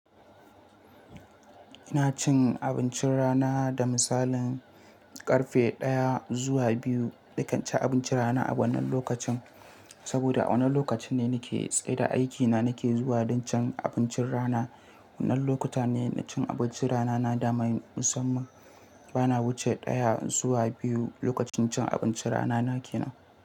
Ina cin abincin rana da misalin karfe ɗaya zuwa biyu. Nakan ci abincin rana a wannan lokacin, saboda wannan lokaci ne nake tsaida aikina nake zuwa don cin abincin rana. Wannan lokuta ne na cin abincin rana na daman musamman. Bana wuce ɗaya zuwa biyu lokacin cin abincin rana na ke nan.